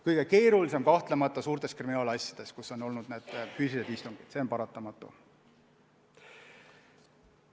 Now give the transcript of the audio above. Kõige keerulisem on kahtlemata suurte kriminaalasjade puhul, kus on olnud füüsilised istungid, see on paratamatu.